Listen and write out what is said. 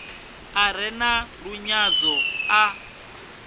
a re na lunyadzo a